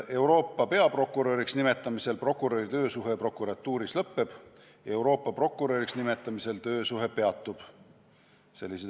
Euroopa peaprokuröriks nimetamise korral prokuröri töösuhe prokuratuuris lõpeb, Euroopa prokuröriks nimetamise korral töösuhe peatub.